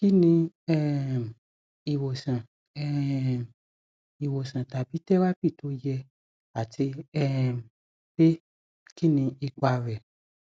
kí ni um ìwòsàn um ìwòsàn tàbí tẹrápì tó yẹ àti um pé kí ni ipa rẹ